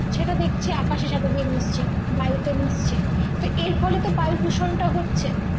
সেটা দেখছি আকাশের সাথে গিয়ে মিশছে বাড়িতে মিশছে তো এর ফলে তো বায়ু দূষণটা হচ্ছে